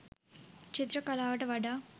චිත්‍ර කලාවට වඩා